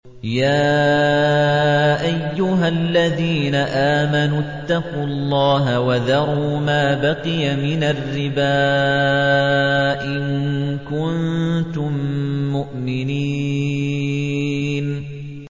يَا أَيُّهَا الَّذِينَ آمَنُوا اتَّقُوا اللَّهَ وَذَرُوا مَا بَقِيَ مِنَ الرِّبَا إِن كُنتُم مُّؤْمِنِينَ